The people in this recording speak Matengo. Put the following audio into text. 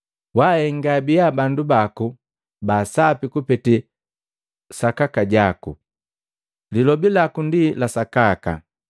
Wahenga abiya bandu baku baasapi kupete sakaka jaku, lilobi laku ndi la sakaka.